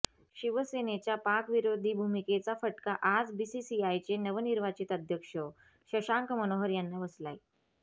शिवसेनेच्या पाक विरोधी भूमिकेचा फटका आज बीसीसीआयचे नवनिर्वाचित अध्यक्ष शशांक मनोहर यांना बसलाय